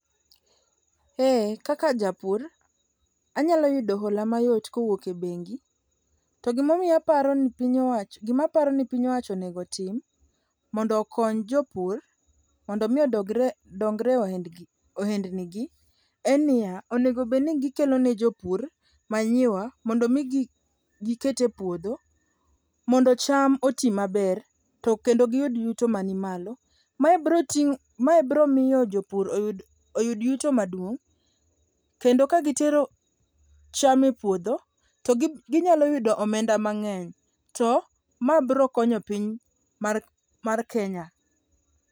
Eeh kaka japur, anyalo ytudo hola mayot kowuok e bengi to gima aparo ni piny owacho onego tim mondo okony jopur mondo omi odongre ohendnigi en niya, onego bedni gikelo ne jopur manyiwa mondo omi giket e puodho mondo cham oti maber to kendo giyud yuto manimalo. Mae biro miyo jopur oyud yuto maduong' kendo kagitero cham e puodho to ginyalo yudo omenda mang'eny to mae brokonyo piny mar Kenya.